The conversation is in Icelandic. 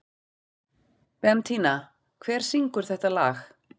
Bentína, hver syngur þetta lag?